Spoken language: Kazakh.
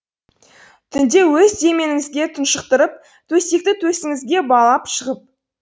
түнде өз деміңізге тұншықтырып төсекті төсіңізге балап шығам